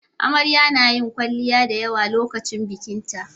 Amarya nayin kwalliya da yawa lokacin bikinta